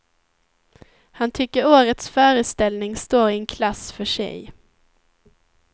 Han tycker årets föreställning står i en klass för sig.